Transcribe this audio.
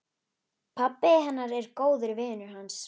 Pabbi hennar er góður vinur hans.